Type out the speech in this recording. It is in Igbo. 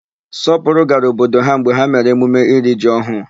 Sọpụrụ gara obodo ha mgbe ha mere emume iri ji ọhụụ.